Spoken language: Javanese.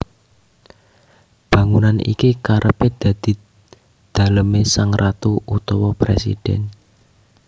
Bangunan iki kerepé dadi dalemé sang ratu utawa Présidèn